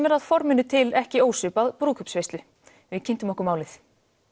er að forminu til ekki ósvipað brúðkaupsveislu við kynntum okkur málið